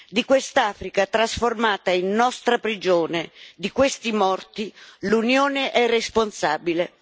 Di questa Africa, trasformata in nostra prigione, di questi morti, l'Unione è responsabile.